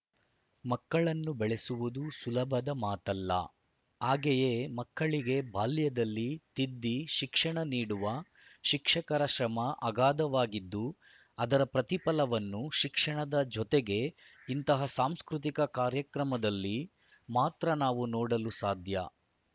ಮಕ್ಕಳನ್ನು ಬೆಳೆಸುವುದು ಸುಲಭದ ಮಾತಲ್ಲ ಹಾಗೆಯೇ ಮಕ್ಕಳಿಗೆ ಬಾಲ್ಯದಲ್ಲಿ ತಿದ್ದಿ ಶಿಕ್ಷಣ ನೀಡುವ ಶಿಕ್ಷಕರ ಶ್ರಮ ಆಗಾಧವಾಗಿದ್ದು ಅದರ ಪ್ರತಿಫಲವನ್ನು ಶಿಕ್ಷಣದ ಜೊತೆಗೆ ಇಂತಹ ಸಾಂಸ್ಕೃತಿಕ ಕಾರ್ಯಕ್ರಮದಲ್ಲಿ ಮಾತ್ರ ನಾವು ನೋಡಲು ಸಾಧ್ಯ